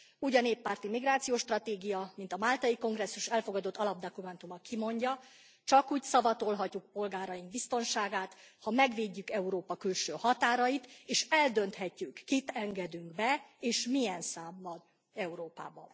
Úgy a néppárti migrációs stratégia, mint a Máltai Kongresszus elfogadott alapdokumentuma kimondja csak úgy szavatolhatjuk polgáraink biztonságát, ha megvédjük Európa külső határait, és eldönthetjük, kit engedünk be és milyen számban Európába.